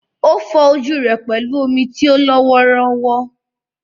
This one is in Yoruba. Ó fọ ojú rẹ̀ pẹ̀lú omi tí ó lọ́ wọ́ọ́rọ́wọ́.